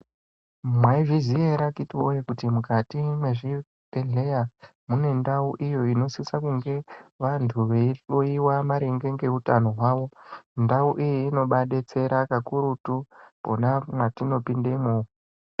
Mwaizviziya ere akhiti woye kuti mukati mwezvibhedhleya munendau iyo inosisa kunge vantu veihloyiwa maringe ngeutano hwavo? Ndau iyi inobaadetsera kakurutu pona mwatinopindemwo